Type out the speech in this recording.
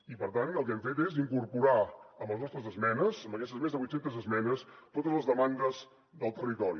i per tant el que hem fet és incorporar amb les nostres esmenes amb aquestes més de vuit centes esmenes totes les demandes del territori